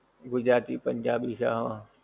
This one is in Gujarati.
ગુજરાતી, પંજાબી છે આહ